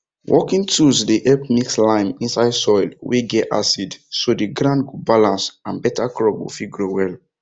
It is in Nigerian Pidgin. working tools dey help mix lime inside soil wey get acid so the ground go balance and better crop go fit grow well